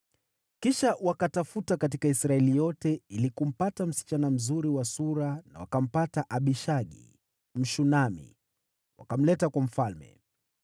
Kisha wakatafuta katika Israeli yote ili kumpata msichana mzuri wa sura na wakampata Abishagi, Mshunami, wakamleta kwa mfalme.